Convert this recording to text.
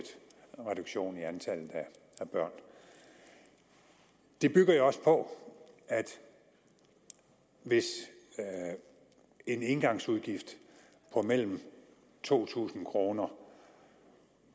reduktion i antallet af børn det bygger jeg også på at hvis en engangsudgift på mellem to tusind kroner